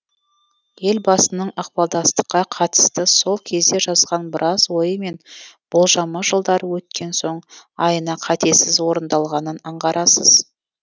елбасының ықпалдастыққа қатысты сол кезде жазған біраз ойы мен болжамы жылдар өткен соң айна қатесіз орындалғанын аңғарасыз